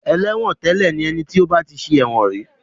Ẹlẹ́wọ̀ntẹ́lẹ̀ ni ẹni tí ó bá ti ṣẹ̀wọ̀n rí.